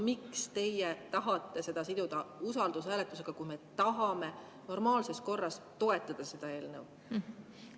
Miks teie tahate seda siduda usaldushääletusega, kui me tahame normaalses korras toetada seda eelnõu?